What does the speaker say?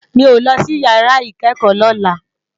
Mi ó lòsí iyàrá ikèékò lòlá